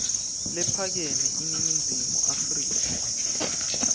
lephakeme eningizimu afrika